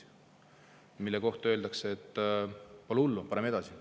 Aga selle kohta öeldakse, et pole hullu, paneme edasi.